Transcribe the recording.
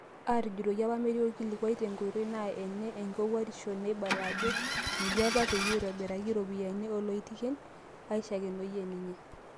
"Aatujutoki apa metii olkilikuai tenkoitoi naa ene nkowuarisho neibala ajo ejii apa peyie eibooriaki iropiyiani oloitekin," eishakenoyia ninye.